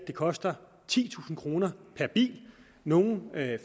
det koster titusind kroner per bil nogle